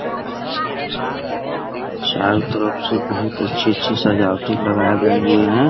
चारों तरफ से बहुत अच्छी-अच्छी सजावटें लगाए गए हुए हैं ।